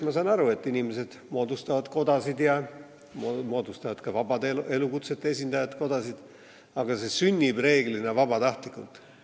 Ma saan aru, et inimesed moodustavad kodasid ja ka vabade elukutsete esindajad moodustavad kodasid, aga see sünnib reeglina vabatahtlikult.